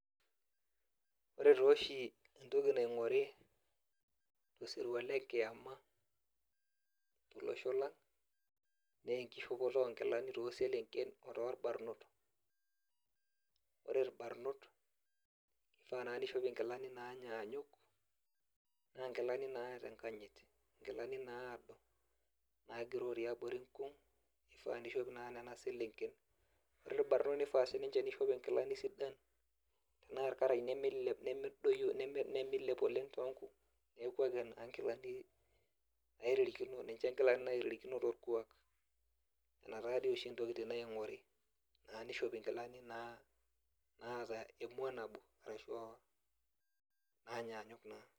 Ore tooshi entoki naing'ori tosirua le kiama tolosho lang' naa enkishopoto oonkilani tooselenken otorbarrnot, ore irbarnot ifaa naa niishop nkilani naanyanyuk naa nkilani naata enkanyit nkilani naado naagiroo tiabori nkung' ifaa niishop naa nena selenken ore irbarnot nifaa sininche niishop nkilani sidan naa irkarash nemiilep oleng' toonkung' nepuo aipim naa nkilani neeku nisho naaitirikino torkuak ina taa ntokitin oshi naing'ori naa nishopi nkilani naata emua nabo ashu naanyanyuk naa.